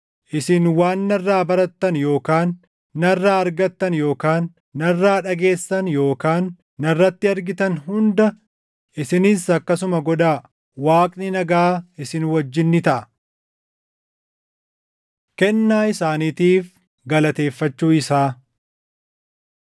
Isin waan narraa barattan yookaan narraa argattan yookaan narraa dhageessan yookaan narratti argitan hunda isinis akkasuma godhaa. Waaqni nagaa isin wajjin ni taʼa. Kennaa Isaaniitiif Galateeffachuu Isaa